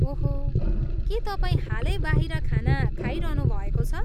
ओहो, के तपाईँ हालै बाहिर खाना खाइरहनुभएको छ?